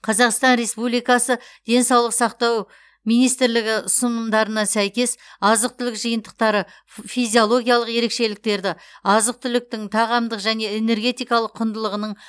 қазақстан республикасы денсаулық сақтау министрлігі ұсынымдарына сәйкес азық түлік жиынтықтары физиологиялық ерекшеліктерді азық түліктің тағамдық және энергетикалық құндылығының